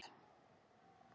Jón Ólafur flissaði lágt.